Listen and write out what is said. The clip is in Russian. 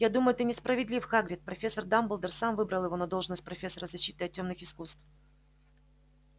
я думаю ты несправедлив хагрид профессор дамблдор сам выбрал его на должность профессора защиты от тёмных искусств